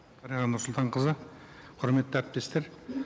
дариға нұрсұлтанқызы құрметті әріптестер